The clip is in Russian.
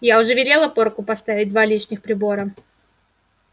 я уже велела порку поставить два лишних прибора